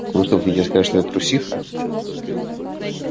вы что хотите сказать что я трусиха